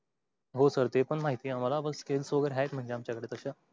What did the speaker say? हो सर ते पण माहिती आहे अम्हाला. बस skills वगेरे आहेत म्हंजे आमच कड तस?